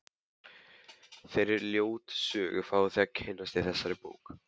Þeirri ljótu sögu fáið þið að kynnast í þessari bók.